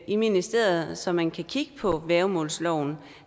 i ministeriet så man kan kigge på værgemålsloven